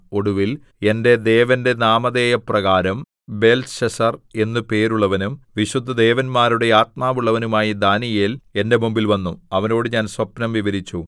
ഒടുവിൽ എന്റെ ദേവന്റെ നാമധേയപ്രകാരം ബേൽത്ത്ശസ്സർ എന്നു പേരുള്ളവനും വിശുദ്ധദേവന്മാരുടെ ആത്മാവുള്ളവനുമായ ദാനീയേൽ എന്റെ മുമ്പിൽ വന്നു അവനോട് ഞാൻ സ്വപ്നം വിവരിച്ചു